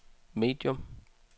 medium